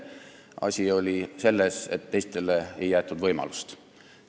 Asi on selles, et teistele ei jäetud võimalust.